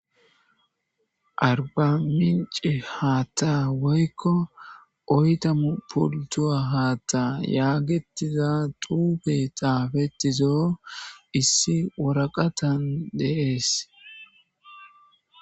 Arbamince haatta woykko oytamu pultuwa haatta yaagetiza xuufe xaafetizo issi woraqatan deees.